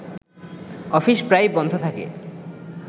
office প্রায়ই বন্ধ থাকে